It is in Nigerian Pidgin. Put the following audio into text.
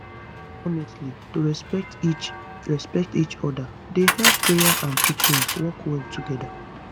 honestly to respect each respect each oda dey help prayer and treatment work well together